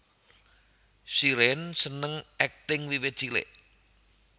Shireen seneng akting wiwit cilik